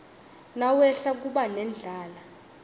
nawehla kuba nendlala